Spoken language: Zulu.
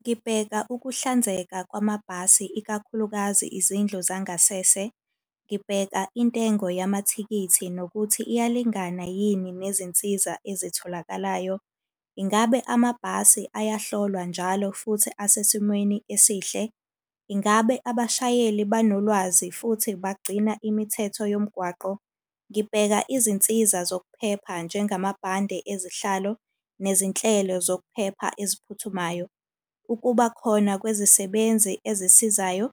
Ngibheka ukuhlanzeka kwamabhasi ikakhulukazi izindlu zangasese. Ngibheka intengo yamathikithi nokuthi iyalingana yini nezinsiza ezitholakalayo. Ingabe amabhasi ayohlolwa njalo futhi asesimweni esihle? Ingabe abashayeli banolwazi futhi bagcina imithetho yomgwaqo? Ngibheka izinsiza zokuphepha njengamabhande ezihlalo, nezinhlelo zokuphepha eziphuthumayo. Ukuba khona kwezisebenzi ezisizayo,